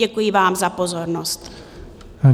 Děkuji vám za pozornost.